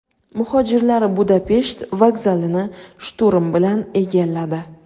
Muhojirlar Budapesht vokzalini shturm bilan egalladi.